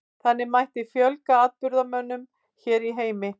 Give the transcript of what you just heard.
Þannig mætti fjölga afburðamönnum hér í heimi.